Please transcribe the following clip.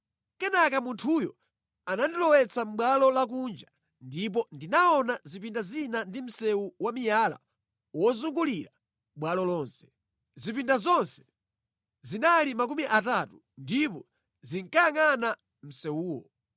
Kenaka munthuyo anandilowetsa mʼbwalo lakunja, ndipo ndinaona zipinda zina ndi msewu wa miyala wozungulira bwalo lonse. Zipinda zonse zinali makumi atatu ndipo zinkayangʼana msewuwo.